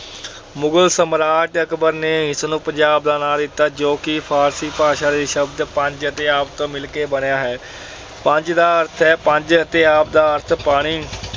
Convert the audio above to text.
ਮੁਗਲ ਸਾਮਰਾਜ ਅਕਬਰ ਨੇ ਇਸ ਨੂੰ ਪੰਜਾਬ ਦਾ ਨਾਮ ਦਿੱਤਾ ਜੋ ਕਿ ਫ਼ਾਰਸੀ ਭਾਸ਼ਾ ਦੇ ਸ਼ਬਦ ਪੰਜ ਅਤੇ ਆਬ ਤੋਂ ਮਿਲ ਕੇ ਬਣਿਆ ਹੈ। ਪੰਜ ਦਾ ਅਰਥ ਹੈ ਪੰਜ ਅਤੇ ਆਬ ਦਾ ਅਰਥ-ਪਾਣੀ।